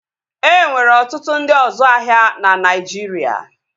E nwere ọtụtụ ndị ọzu ahịa na Naijiria